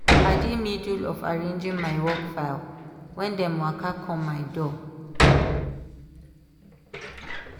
i dey middle of arranging my work file when dem waka come my door.